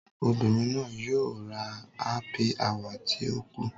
Obirin naa yoo ra hsppy hour ti o ku.